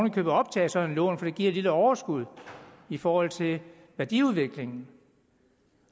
i købet optage et sådant lån fordi det giver et lille overskud i forhold til værdiudviklingen